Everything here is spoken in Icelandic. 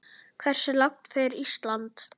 Hversu langt fer Ísland?